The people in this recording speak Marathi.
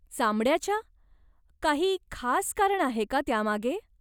चामड्याच्या? काही खास कारण आहे का त्यामागे?